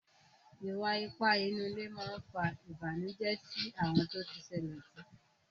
Ìwà ipá nínú ilé má fa Ìbànùjẹ́ sí àwọn tó ti ṣẹlẹ̀ sí